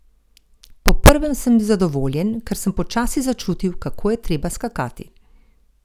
Po prvem sem bil zadovoljen, ker sem počasi začutil, kako je treba skakati.